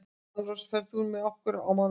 Svanrós, ferð þú með okkur á mánudaginn?